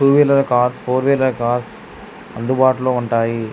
To wheeler cars four wheeler cars అందుబాటులో ఉంటాయి.